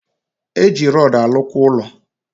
Eji rodu alu kwa ulo